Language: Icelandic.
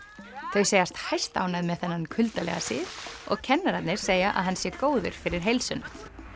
þau segjast hæstánægð með þennan kuldalega sið og kennararnir segja að hann sé góður fyrir heilsuna